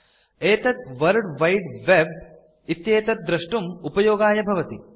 एतत् world wide web इत्येतत् दृष्टुम् उपयोगाय भवति